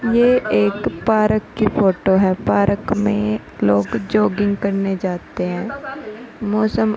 ये एक पारक की फोटो है। पारक में लोग जोगिंग करने जाते हैं। मौसम --